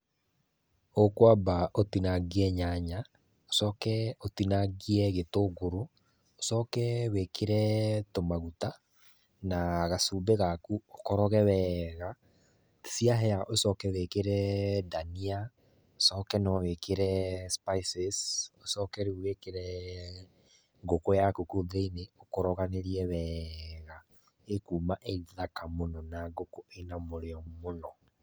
Ũkwamba ũtinangie nyanya, ucoke ũtinangie gĩtũngũrũ, ũcoke wĩkĩre tũmaguta, na gacumbĩ gaku ũkoroge weega. Ciahĩa ucoke wĩkĩre dania, ũcoke no wĩkĩre spices, ũcoke rĩu wĩkĩre ngũkũ yaku kũu thĩiniĩ, ũkoroganĩrie wega, ĩkuma ĩ thaka mũno na ngũkũ ĩna mũrĩo mũno.